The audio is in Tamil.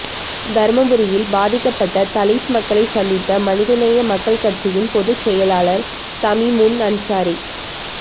தருமபுரியில் பாதிக்கப்பட்ட தலித் மக்களைச் சந்தித்த மனிதநேய மக்கள் கட்சியின் பொதுச் செயலாளர் தமிமுன் அன்சாரி